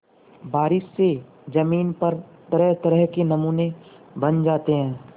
बारिश से ज़मीन पर तरहतरह के नमूने बन जाते हैं